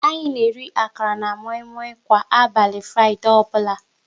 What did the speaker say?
Anyị na-eri akara na moi moi kwa abali Fraịdee ọbụla